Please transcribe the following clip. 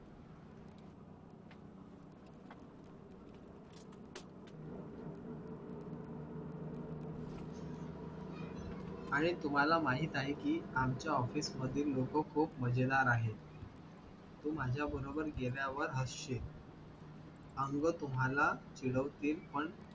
आणि तुम्हाला माहित आहे कि आमच्या office मध्ये लोकं खूप मजेदार आहेत. तू माझ्याबरोबर गेल्यावर हसशील. अंग तुम्हाला चिडवतील पण